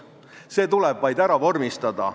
See tuleb vaid vormistada.